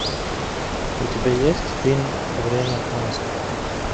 у тебя есть фильм время монстров